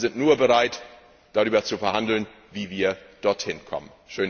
Wir sind nur bereit, darüber zu verhandeln, wie wir dorthin kommen.